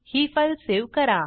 ही file save करा